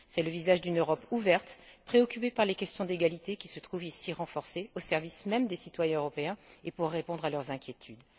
C'est le visage d'une Europe ouverte, préoccupée par les questions d'égalité, qui se trouve ici renforcé, au service même des citoyens européens et pour répondre à leurs inquiétudes.